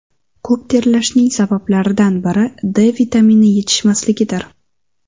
Ko‘p terlashning sabablaridan biri D vitamini yetishmasligidir.